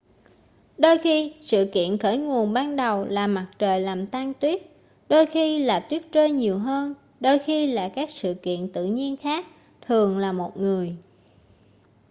đôi khi sự kiện khởi nguồn ban đầu là mặt trời làm tan tuyết đôi khi là tuyết rơi nhiều hơn đôi khi là các sự kiện tự nhiên khác thường là một người